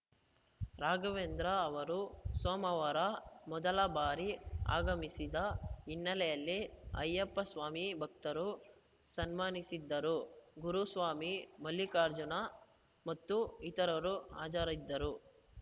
ರಾಘವೇಂದ್ರ ಅವರು ಸೋಮವಾರ ಮೊದಲ ಬಾರಿ ಆಗಮಿಸಿದ ಹಿನ್ನೆಲೆಯಲ್ಲಿ ಅಯ್ಯಪ್ಪ ಸ್ವಾಮಿ ಭಕ್ತರು ಸನ್ಮಾನಿಸಿದ್ದರು ಗುರುಸ್ವಾಮಿ ಮಲ್ಲಿಕಾರ್ಜುನ ಮತ್ತು ಇತರರು ಹಾಜರಿದ್ದರು